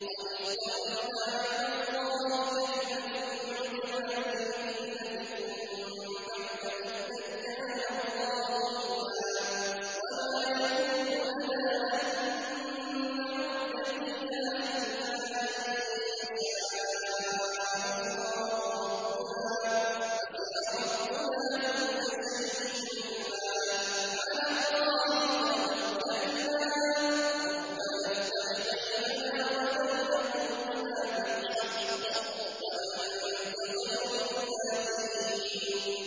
قَدِ افْتَرَيْنَا عَلَى اللَّهِ كَذِبًا إِنْ عُدْنَا فِي مِلَّتِكُم بَعْدَ إِذْ نَجَّانَا اللَّهُ مِنْهَا ۚ وَمَا يَكُونُ لَنَا أَن نَّعُودَ فِيهَا إِلَّا أَن يَشَاءَ اللَّهُ رَبُّنَا ۚ وَسِعَ رَبُّنَا كُلَّ شَيْءٍ عِلْمًا ۚ عَلَى اللَّهِ تَوَكَّلْنَا ۚ رَبَّنَا افْتَحْ بَيْنَنَا وَبَيْنَ قَوْمِنَا بِالْحَقِّ وَأَنتَ خَيْرُ الْفَاتِحِينَ